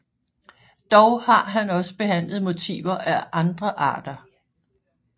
Dog har han også behandlet motiver af andre arter